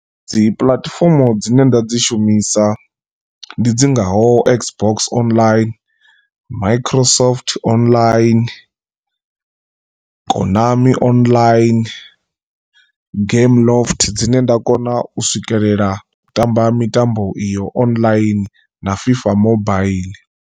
Dzi puḽatifomo dzine nda dzi shumisa ndi dzi ngaho x box online, micro soft online, konami online, game loft dzine nda kona u swikelela u tamba mitambo iyo online na fifa mobaiḽi.